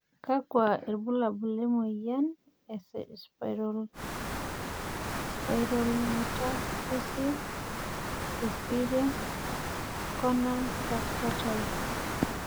kakua irbulabol le moyian e Spondylometaphyseal dysplasia corner fracture type?